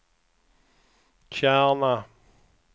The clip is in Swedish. Kärna